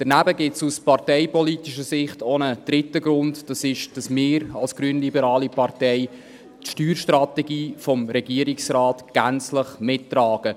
Daneben gibt es aus parteipolitischer Sicht auch einen dritten Grund, nämlich, dass wir als grünliberale Partei die Steuerstrategie des Regierungsrates gänzlich mittragen.